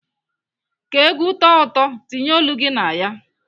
Ka ègwú tọọ ụtọ, tinye olu gị na ya.